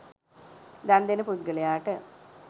දන්දෙන පුද්ගලයාට